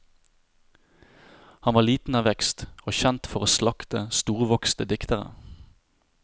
Han var liten av vekst, og kjent for å slakte storvokste diktere.